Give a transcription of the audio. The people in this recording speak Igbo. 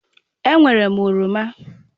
E nwèré m oroma.